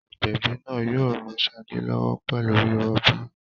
Agbẹ̀bí náà yóò ran Ṣadé lọ́wọ́ pẹ̀lú rírọbí.